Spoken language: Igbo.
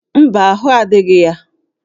Mba, ahụ́ adịghị ya